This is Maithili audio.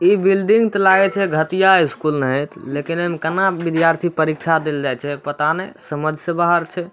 इ बिल्डिंग त लागए छै घटिया स्कूल ने है लेकिन एमे कना विद्यार्थी परीक्षा देल जाएत छै पता नाय समझ से बाहर छै।